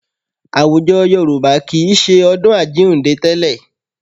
Àwùjọ Yorùbá kì í ṣe ọdún Àjíǹde tẹ́lẹ̀.